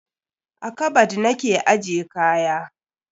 A kabad na ke ajje kaya.